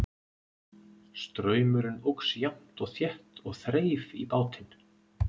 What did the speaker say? Straumurinn óx jafnt og þétt og þreif í bátinn.